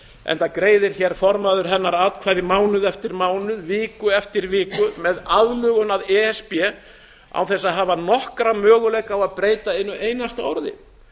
enda greiðir formaður hennar atkvæði mánuð eftir mánuð viku eftir viku með aðlögun að e s b án þess að hafa nokkra möguleika á að breyta einu einasta orði